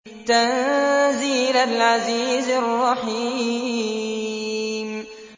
تَنزِيلَ الْعَزِيزِ الرَّحِيمِ